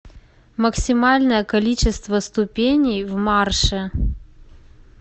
максимальное количество ступеней в марше